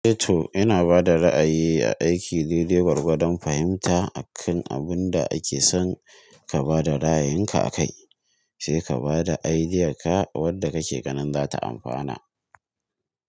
Eto ina bada ra'ayi a aiki dede gwargwadon fahimta akan abun da ake son ka bada ra'ayinka akai sai ka bada idean ka wadda kake ganin za ta anfana.